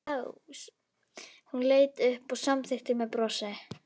Hún leit upp og samþykkti með brosi.